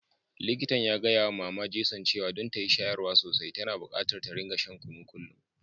Likitan ya gaya wa mama Jason cewa don ta yi shayarwa sosai, tana bukatar ta rika shan kunu kullum.